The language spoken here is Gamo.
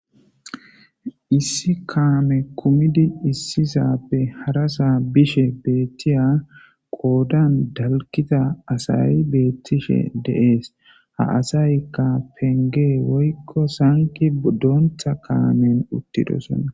Issi kaame kumidi issisappe harasaa bishe beettiya qoodan dalkita asay beettishe deees ha asaykka penge woykko sanqi doontha kaamen uttidosonna